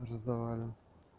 уже сдавали